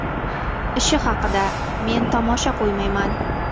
Ishi haqida: Men tomosha qo‘ymayman.